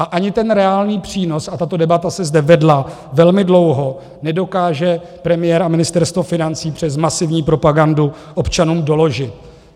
A ani ten reálný přínos, a tato debata se zde vedla velmi dlouho, nedokáže premiér a Ministerstvo financí přes masivní propagandu občanům doložit.